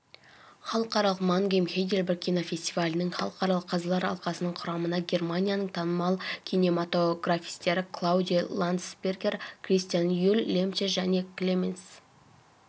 халықаралық мангейм-хайдельберг кинофестивалінің халықаралық қазылар алқасының құрамынагерманияның танымал кинематографистері клаудиа ландсбергер кристиан юль лемче және клеменс